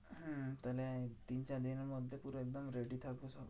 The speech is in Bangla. হ্যাঁ তাহলে তিন চার দিনের মধ্যে পুরো একদম ready থাকবো সবাই।